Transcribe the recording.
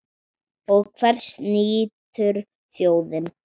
Og hvers nýtur þjóðin?